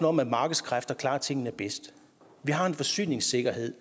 om at markedskræfterne klarer tingene bedst vi har en forsyningssikkerhed